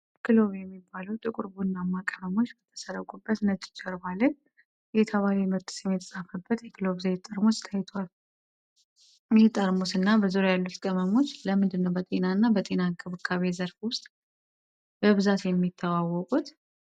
ክሎቭ የሚባሉ ጥቁር ቡናማ ቅመሞች በተዘረጉበት ነጭ ጀርባ ላይ፣ የተባለ የምርት ስም የተጻፈበት የክሎቭ ዘይት ጠርሙስ ታይቷል፤ ይህ ጠርሙስ እና በዙሪያው ያሉት ቅመሞች ለምንድነው በጤና እና በጤና እንክብካቤ ዘርፍ ውስጥ በብዛት የሚተዋወቁት?